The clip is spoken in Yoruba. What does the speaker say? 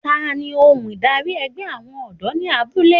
Tani ohun darí ẹgbẹ́ àwọn ọ̀dọ́ ní abúlé?